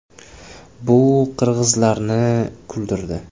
Bu qirg‘izlarni kuldirdi .